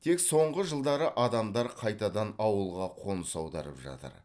тек соңғы жылдары адамдар қайтадан ауылға қоныс аударып жатыр